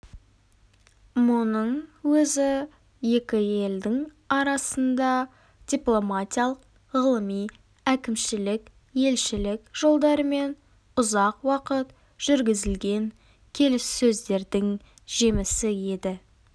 мұның өзі екі елдің арасында дипломатиялық ғылыми әкімшілік елшілік жолдарымен ұзақ уақыт жүргізілген келіссөздердің жемісі еді